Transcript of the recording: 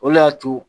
O le y'a to